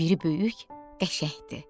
Biri böyük qəşəngdir.